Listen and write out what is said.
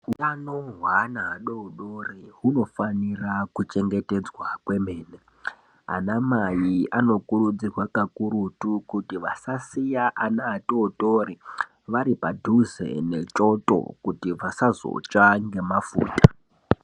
Utano heana adodori hunofanira kuchengetedzwa kwemene Anamai anokurudzirwa kakurutu kuti asasiya ana atotori ari padhuze nechoto kuti vasazotsva ngemafuta.